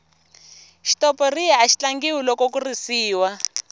xitoporiya axi tlangiwa loko ku risiwa